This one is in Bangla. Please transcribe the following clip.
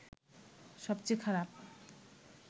সবচেয়ে খারাপ